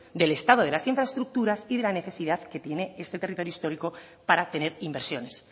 del estado de las infraestructuras y de la necesidad que tiene este territorio histórico para tener inversiones